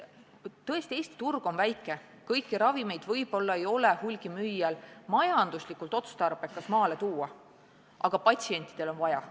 Tõesti, Eesti turg on väike ja kõiki ravimeid võib-olla ei ole hulgimüüjal majanduslikult otstarbekas maale tuua, aga patsientidel on neid vaja.